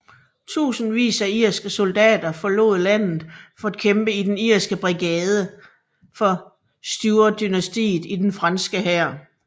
Tusindvis af irske soldater forlod landet for at kæmpe i den Irske Brigade for Stuartdynastiet i den franske hær